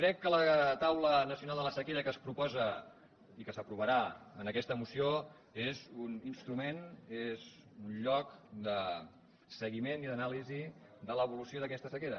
crec que la taula nacional de la sequera que es proposa i que s’aprovarà en aquesta moció és un instrument és un lloc de seguiment i d’anàlisi de l’evolució d’aquesta sequera